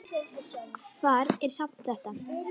Hvar er safn þetta?